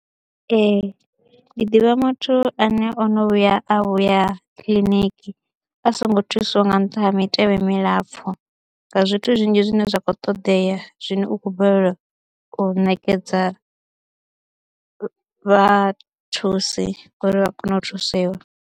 Ee ndi ḓivha muthu ane o no vhuya a vhuya kiḽiniki a songo thusiwa nga nṱha ha mitevhe milapfhu, nga zwithu zwinzhi zwine zwa khou ṱoḓea zwino u khou balelwa u ṋekedza vhathusi uri vha kone u thusiwa.